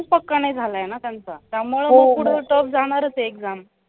पक्का नाय झालाय ना त्यांचा त्यामुळं पुढं tough जाणाराचं आहे exam